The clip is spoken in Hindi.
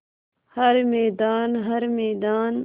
हर मैदान हर मैदान